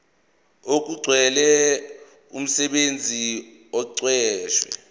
okugcwele umsebenzi oqashwe